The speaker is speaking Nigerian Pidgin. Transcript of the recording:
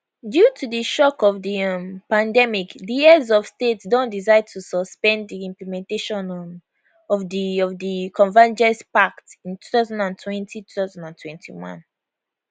due to di shock of di um pandemic di heads of state don decide to suspend di implementation um of di of di convergence pact in 20202021